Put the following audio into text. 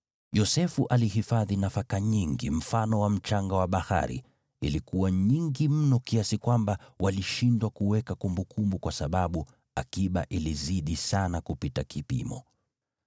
Yosefu alihifadhi nafaka nyingi, mfano wa mchanga wa bahari, ilikuwa nyingi mno kiasi kwamba walishindwa kuweka kumbukumbu kwa sababu akiba ilizidi sana kupita kipimo.